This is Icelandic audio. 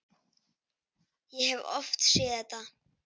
Ég hef oft séð þetta.